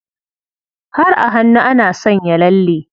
Har a hannu ana sanya lalle.